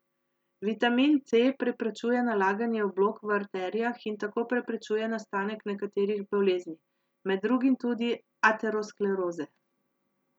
Vitamin C preprečuje nalaganje oblog v arterijah in tako preprečuje nastanek nekaterih bolezni, med drugim tudi ateroskleroze.